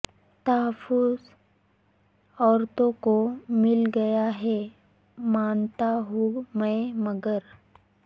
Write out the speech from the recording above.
تحفظ عورتوں کو مل گیا ہے مانتا ہوں میں مگر